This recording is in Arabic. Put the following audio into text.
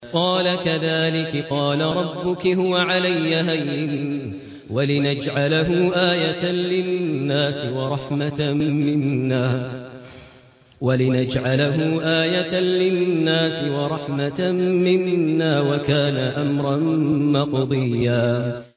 قَالَ كَذَٰلِكِ قَالَ رَبُّكِ هُوَ عَلَيَّ هَيِّنٌ ۖ وَلِنَجْعَلَهُ آيَةً لِّلنَّاسِ وَرَحْمَةً مِّنَّا ۚ وَكَانَ أَمْرًا مَّقْضِيًّا